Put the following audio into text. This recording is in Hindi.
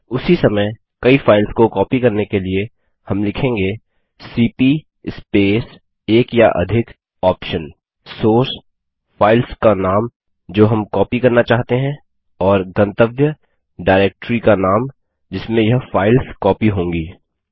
उसी समय कई फाइल्स को कॉपी करने के लिए हम लिखेंगे सीपी स्पेस एक या अधिक OPTION सोर्स फाइल्स का नाम जो हम कॉपी करना चाहते हैं और गंतव्य डायरेक्ट्री का नाम जिसमें यह फाइल्स कॉपी होंगी